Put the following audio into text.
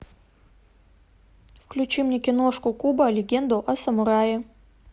включи мне киношку кубо легенду о самурае